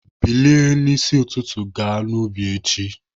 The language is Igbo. Bilie n'isi ụtụtụ ga n'ubi echi!